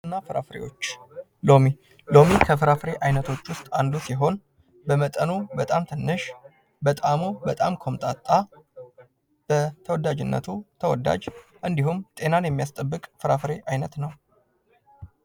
አትክልትና ፍራፍሬዎች ሎሚ ሎሚ ከፍራፍሬ አይነቶች ውስጥ አንዱ ሲሆን መጠኑም በጣም ትንሽ፣ በጥዕሙም በጣም ቆምጣጣ፣ በተወዳጅነቱ ተወዳጅ እንዲሁም ጤናን የሚያስጠበቅ ፍራፍሬ አይነት ነው።